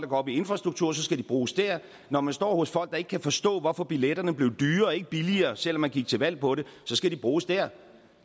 op i infrastruktur skal de bruges der når man står hos folk der ikke kan forstå hvorfor billetterne blev dyrere og ikke billigere selv om man gik til valg på det så skal de bruges der